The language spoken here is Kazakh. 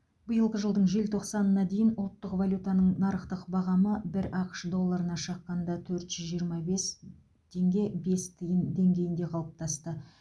биылғы жылдың желтоқсанына дейін ұлттық валютаның нарықтық бағамы бір ақш долларына шаққанда төрт жүз жиырма бес тенге бес тиын деңгейінде қалыптасты